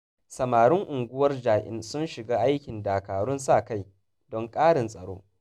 Samarin unguwar Ja'in sun shiga aikin dakarun sa-kai, don ƙarin tsaro